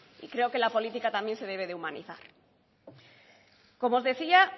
y creo que la política también se debe de humanizar como os decía